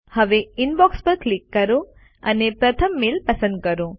હવે ઇનબોક્સ પર ક્લિક કરો અને પ્રથમ મેલ પસંદ કરો